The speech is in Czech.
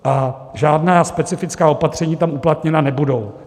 A žádná specifická opatření tam uplatněna nebudou.